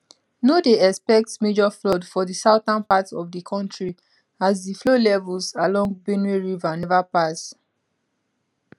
no dey expect major flood for di southern part of di kontri as di flow levels along benue river neva pass